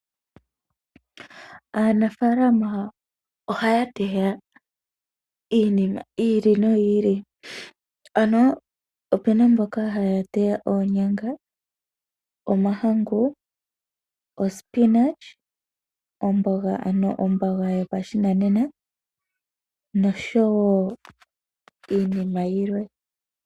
Aanafalama ohaya teya iinima yi ili noyi ili. Ano opena mboka haya teya, oonyanga, omahangu, omboga ano omboga yopashinanena nosho wo iinima yilwe.